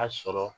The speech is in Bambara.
A sɔrɔ